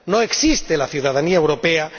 No existe la ciudadanía europea.